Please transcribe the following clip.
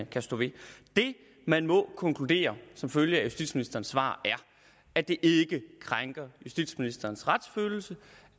kan stå ved det man må konkludere som følge af justitsministerens svar er at det ikke krænker justitsministerens retsfølelse